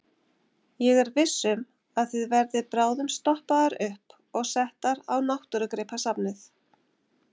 Ég er viss um að þið verðið bráðum stoppaðar upp og settar á Náttúrugripasafnið.